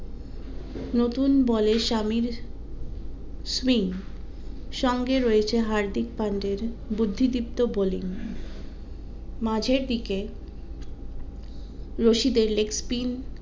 নতুন বলের সামির swing সঙ্গে রয়েছে হার্দিক পান্ডের বুদ্ধি দীপ্ত bowling মাঝের দিকে রশিদের leg spine